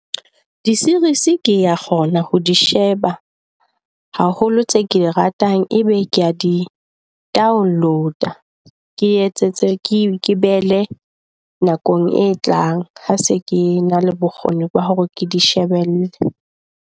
Di-series kea kgona ho di sheba haholo, tse ke di ratang ebe kea di download-a. Ke etsetse ke behele nakong e tlang ha se ke na le bokgoni ba hore ke di shebelle.